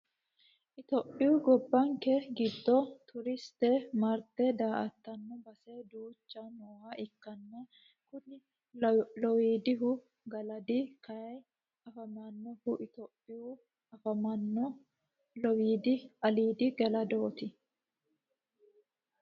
Itiyophiyu gobbanke giddo turiste marte daa"attano base duucha nooha ikkanna kuli lowiddaannu galadi kayii afamannohu itiyophiyaho afamanno lowiidi ilaali giddooti.